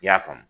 I y'a faamu